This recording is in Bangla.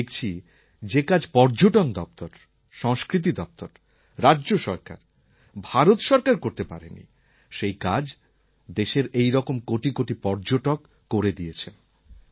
আর আমি দেখেছি যে যে কাজ পর্যটন দপ্তর সংস্কৃতি দপ্তর রাজ্য সরকার ও ভারত সরকার করতে পারে নি সেই কাজ দেশের এই রকম কোটি কোটি পর্যটক করে দিয়েছেন